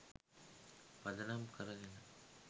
පදනම් කරගෙන